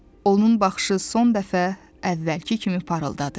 Onun baxışı son dəfə əvvəlki kimi parıldadı.